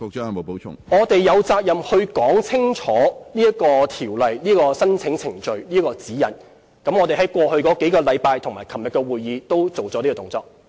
我們有責任說清楚條例的申請程序和指引，我們在過去數星期和昨天的會議均已作出相關動作。